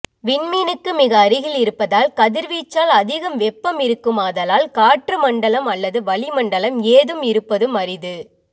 விண்மீனுக்கு மிக அருகில் இருப்பதால் கதிர்வீச்சால் அதிக வெப்பம் இருக்குமாதலால் காற்றுமண்டலம் அல்லது வளிமண்டலம் ஏதும் இருப்பதும் அரிது